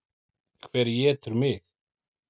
Hver étur mig?